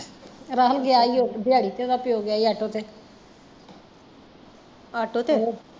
ਰਾਹੁਲ ਗਿਆ ਈ ਓ ਦਿਆੜੀ ਤੇ ਉਹਦਾ ਪਿਓ ਗਿਆ ਈ ਆਟੋ ਤੇ